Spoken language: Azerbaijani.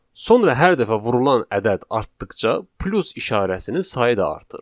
Sonra hər dəfə vurulan ədəd artdıqca plus işarəsinin sayı da artır.